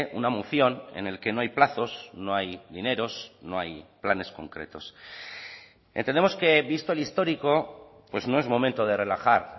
una moción en el que no hay plazos no hay dineros no hay planes concretos entendemos que visto el histórico pues no es momento de relajar